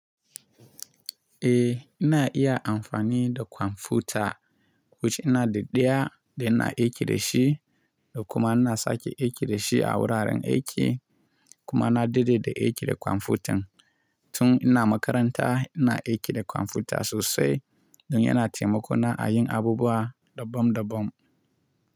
Eh ina iya amfani da kwamfuta, wuce ina da ɗaya da ina aiki da shi da kuma ina sake aiki da shi a wuraren aiki kuma na dade da aiki da kwamfutan. Tun ina makaranta ina aiki da kwamfuta sosai don yana taimako na a yin abubuwa daban daban.